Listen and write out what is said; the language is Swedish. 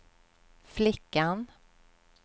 flickan